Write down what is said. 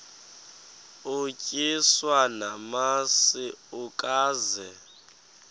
utyiswa namasi ukaze